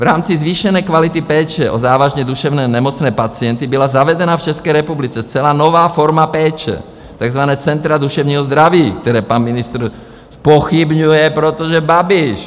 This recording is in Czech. V rámci zvýšené kvality péče o závažně duševně nemocné pacienty byla zavedena v České republice zcela nová forma péče, takzvaná Centra duševního zdraví, která pan ministr zpochybňuje, protože Babiš!